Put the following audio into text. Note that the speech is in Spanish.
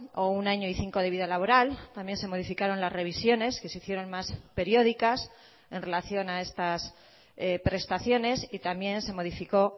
o un año y cinco de vida laboral también se modificaron las revisiones que se hicieron más periódicas en relación a estas prestaciones y también se modificó